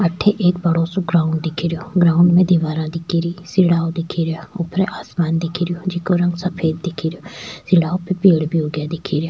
अठे एक बड़ो सो ग्राउंड दिखे रो ग्राउंड में दीवारा दिखे री सीढ़ाव दिख रा ऊपर आसमान दिखेराे जिको रंग सफ़ेद दिखेरो सीढ़ाव पे पेड़ भी उग्या दिखे रिया।